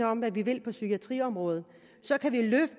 om hvad vi vil på psykiatriområdet